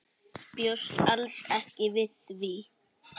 Bjóst alls ekki við því.